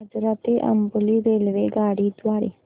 आजरा ते अंबोली रेल्वेगाडी द्वारे